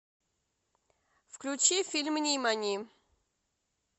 включи фильм нимани